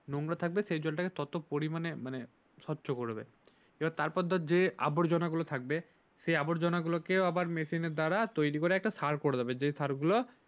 নোংরা থাকবে সেই ততো পরিমানে মানে স্বচ্ছা করিবে তারপর ধর যে আবর্জনাগুলো থাকবে সে আবর্জনাগুলোকে আবার মেশিনের দ্বারা তৈরি করে